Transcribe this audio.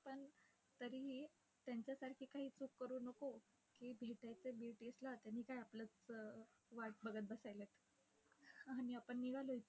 पण तरीही त्यांच्यासारखी काही चूक करू नको, की भेटायचंय BTS ला. त्यांनी काय आपलीच वाट बघत बसायलेत. आणि आपण निघालोय इथून